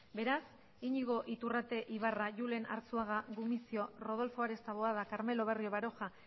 beraz iñigo iturrate ibarra julen arzuaga gumuzio rodolfo ares taboada carmelo barrio baroja